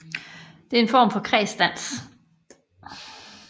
Det er en form for kredsdans